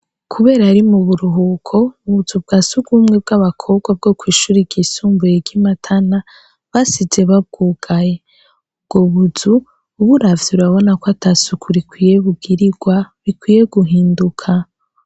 Kuber'ari muburuhuko, ubuzu bwa sugumwe bw'abakobwa bwo kw'ishure ryisumbuye ry'Imatana basizr babwugaye. Ubwo buzu uburavye urabona ko ata suku rikwiye bugirirwa bikwiye guhinduka.